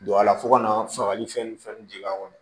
Don a la fo ka na fagali fɛn ni fɛn di la